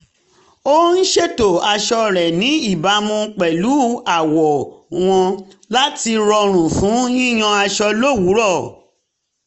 ó ń ṣètò aṣọ rẹ̀ ní ìbámu pẹ̀lú àwọ̀ wọn láti rọrùn fún yíyan aṣọ lówùúrọ̀